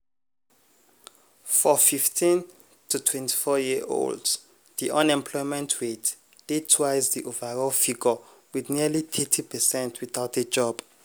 for 15-to-24-year-olds diunemployment rate dey twice di overall figure wit nearly thirty percent without a job.